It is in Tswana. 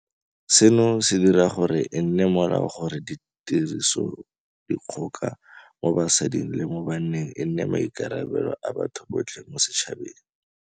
Seno se dira gore e nne molao gore tirisodikgoka mo basading le mo baneng e nne maikarabelo a batho botlhe mo setšhabeng.